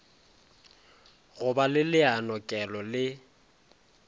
go ba le leanokelo le